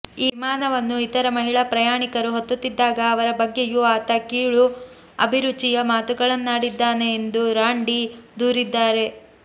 ವಿಮಾನವನ್ನು ಇತರ ಮಹಿಳಾ ಪ್ರಯಾಣಿಕರು ಹತ್ತುತ್ತಿದ್ದಾಗ ಅವರ ಬಗ್ಗೆಯೂ ಆತ ಕೀಳು ಅಭಿರುಚಿಯ ಮಾತುಗಳನ್ನಾಡಿದ್ದಾನೆ ಎಂದು ರಾಂಡಿ ದೂರಿದ್ದಾರೆ